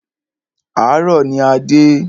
Àárọ̀ ní a dé.